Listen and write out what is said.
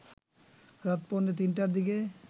রাত পৌনে তিনটার দিকে